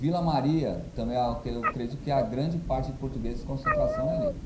Vila Maria, também, eu acredito que a grande parte de portugueses de concentração é ali.